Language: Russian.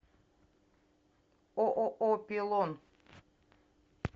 ооо пилон